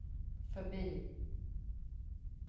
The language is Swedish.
förbi